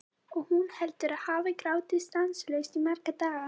Og hún heldur að hún hafi grátið stanslaust í marga daga.